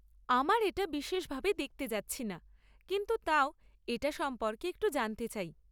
আমার এটা বিশেষভাবে দেখতে যাচ্ছি না কিন্তু তাও এটা সম্পর্কে একটু জানতে চাই।